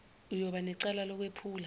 uyoba necala lokwephula